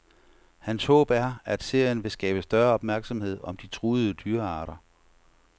Hans håb er, at serien vil skabe større opmærksomhed om de truede dyrearter.